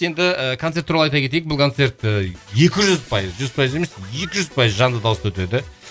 енді і концерт туралы айта кетейік бұл концерт ыыы екі жүз пайыз жүз пайыз емес екі жүз пайыз жанды дауыста өтеді